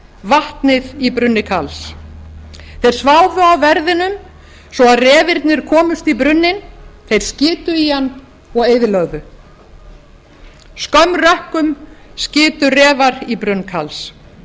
vatnið í brunni karls þeir sváfu á verðinum svo refirnir komust í brunninn þeir skitu í hann og eyðilögðu skömm rökkum skitu refar í brunn karls